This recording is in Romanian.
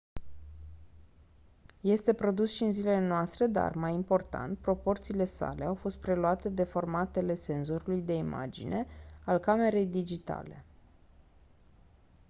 este produs și în zilele noastre dar mai important proporțiile sale au fost preluate de formatele senzorului de imagine al camerei digitale